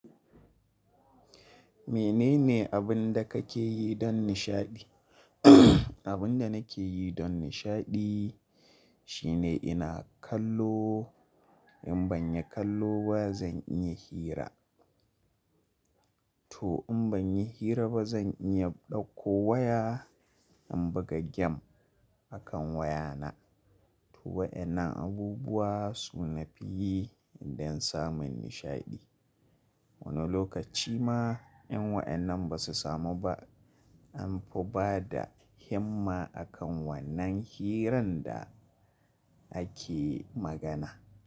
Mene ne abin da kake yi don nishaɗi? Abin da nake yi don nishaɗi shi ne ina kallo, in ban yi kallo ba zan iya hira, to in ban yi hira ba zan iya ɗauko waya in buga game akan wayana. To waɗannan abubuwa su na fi yi don samun nishaɗi. Wani lokaci ma in waɗannan ba su samu ba, an fi bada himma akan wannan hirar da ake magana.